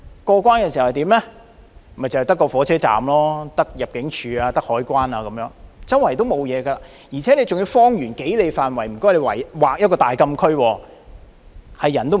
過關後只有火車站、入境處和海關，沒有其他設施，而且，方圓數里更被劃為禁區，沒有人能夠進入。